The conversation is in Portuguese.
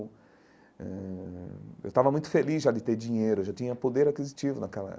Eh eu estava muito feliz já de ter dinheiro, eu já tinha poder aquisitivo naquela.